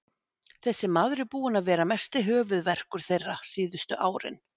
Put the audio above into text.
Þessi maður er búinn að vera mesti höfuðverkur þeirra síðustu árin.